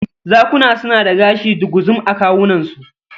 Zakuna suna da gashi duguzum a kawunansu.